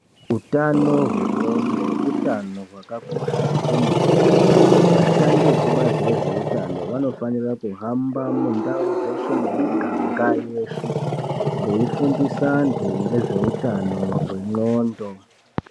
Hutano hwengonxo hutano hwakakosha kwemene vashandi vekubazi rezvehutano vanofanira kuhamba mundau yeshe nemiganga yeshe veifundisa antu nezvehutano hwengonxo.